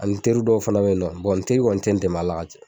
Ali n teri dɔw fana be yen nɔ bɔn n teri kɔni te n dɛmɛ a la ka caya